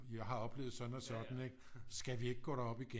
Jeg har oplevet sådan og sådan ikke skal vi ikke gå derop igen